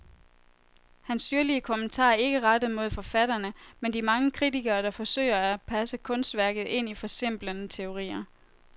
Hans syrlige kommentarer er ikke rettet mod forfatterne, men de mange kritikere, der forsøger at passe kunstværket ind i forsimplende teorier.